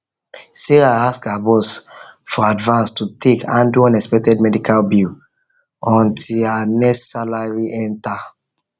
sarah ask her boss for advance to take handle unexpected medical bill until her next salary salary enter